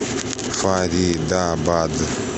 фаридабад